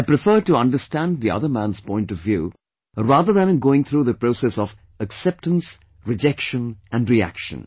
I prefer to understand the other man's point of view rather than going through the process of acceptance, rejection and reaction